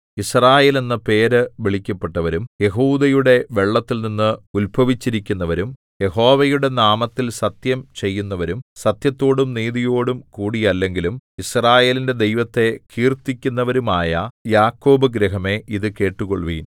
യിസ്രായേൽ എന്ന പേര് വിളിക്കപ്പെട്ടവരും യെഹൂദയുടെ വെള്ളത്തിൽനിന്ന് ഉത്ഭവിച്ചിരിക്കുന്നവരും യഹോവയുടെ നാമത്തിൽ സത്യം ചെയ്യുന്നവരും സത്യത്തോടും നീതിയോടും കൂടിയല്ലെങ്കിലും യിസ്രായേലിന്റെ ദൈവത്തെ കീർത്തിക്കുന്നവരും ആയ യാക്കോബ് ഗൃഹമേ ഇതു കേട്ടുകൊള്ളുവിൻ